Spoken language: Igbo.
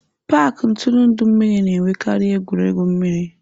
paaki ntụrụndụ mmiri na-enwekarị egwuregwu mmiri.